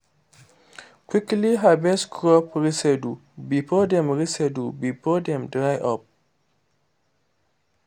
quickly harvest crop residue before dem residue before dem dry up